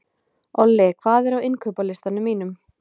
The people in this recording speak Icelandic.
Olli, hvað er á innkaupalistanum mínum?